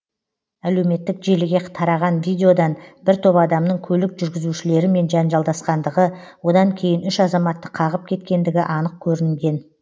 әлеуметтік желіге тараған видеодан бір топ адамның көлік жүргізушілерімен жанжалдасқандығы одан кейін үш азаматты қағып кеткендігі анық көрінген